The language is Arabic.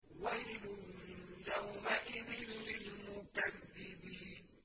وَيْلٌ يَوْمَئِذٍ لِّلْمُكَذِّبِينَ